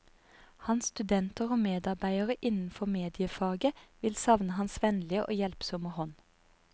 Hans studenter og medarbeidere innenfor mediefaget vil savne hans vennlige og hjelpsomme hånd.